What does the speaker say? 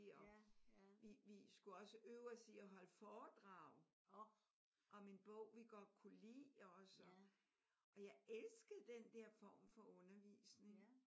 Og vi vi skulle også øve os i at holde foredrag om en bog vi godt kunne lide også. Og jeg elskede den der form for undervisning